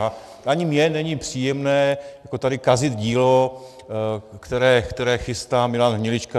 A ani mně není příjemné tady kazit dílo, které chystá Milan Hnilička.